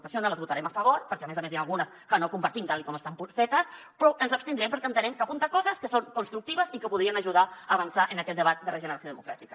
per això no les votarem a favor perquè a més a més n’hi ha algunes que no compartim tal com estan fetes però ens abstindrem perquè entenem que apunten coses que són constructives i que podrien ajudar a avançar en aquest debat de regeneració democràtica